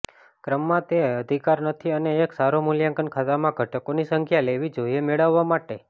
ક્રમમાં તે અધિકાર નથી અને એક સારા મૂલ્યાંકન ખાતામાં ઘટકોની સંખ્યા લેવી જોઈએ મેળવવા માટે